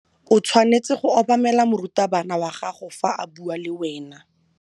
O tshwanetse go obamela morutabana wa gago fa a bua le wena.